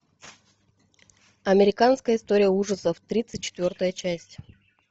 американская история ужасов тридцать четвертая часть